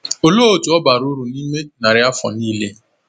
Olee otú ọ bara uru n’ime narị afọ nile?